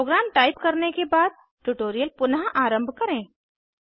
programme type करने के बाद ट्यूटोरियल पुनः आरंभ करें